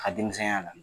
A ka denmisɛnya la